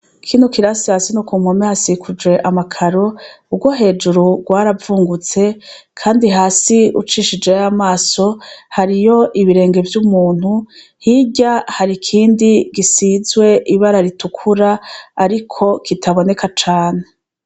Kino kirasi hasi no ku mpome hasikuje amakaro, urwo hejuru rwaravungutse, kandi hasi ucishijeyo amaso, hariyo ibirenge vy'umuntu, hirya hari kindi gisizwe ibara ritukura, ariko kitaboneka cane.